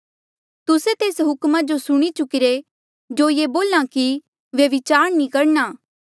तुस्से तेस हुक्मा जो सुणी चुकिरे जो ये बोल्हा कि व्यभिचार नी करणा